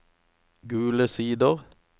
Gule Sider